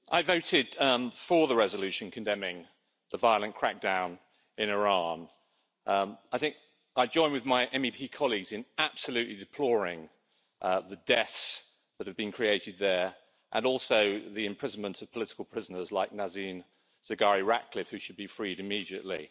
Madam President, I voted for the resolution condemning the violent crackdown in Iran. I think I join with my MEP colleagues in absolutely deploring the deaths that have been created there and also the imprisonment of political prisoners like Nazanin Zaghari Ratcliffe, who should be freed immediately.